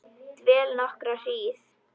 Dvel nokkra hríð.